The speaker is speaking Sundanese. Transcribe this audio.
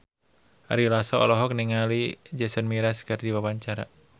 Ari Lasso olohok ningali Jason Mraz keur diwawancara